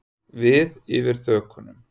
Við yfir þökunum.